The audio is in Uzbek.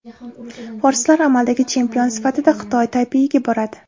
Forslar amaldagi chempion sifatida Xitoy Taypeyiga boradi.